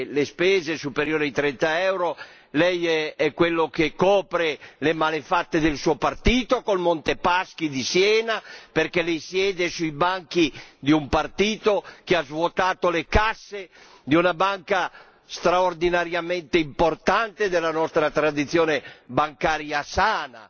le spese superiori ai 30 euro. Lei è quello che copre le malefatte del suo partito col Monte dei Paschi di Siena, perché lei siede sui banchi di un partito che ha svuotato le casse di una banca straordinariamente importante della nostra tradizione bancaria sana,